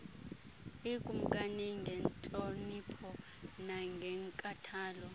ikumkani ngentlonipho nangenkathalo